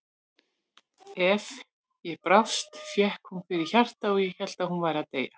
Ef ég brást fékk hún fyrir hjartað og ég hélt að hún væri að deyja.